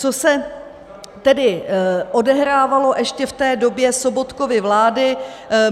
Co se tedy odehrávalo ještě v té době Sobotkovy vlády.